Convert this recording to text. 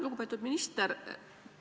Lugupeetud minister!